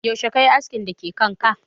Yaushe kayi askin da ke kanka?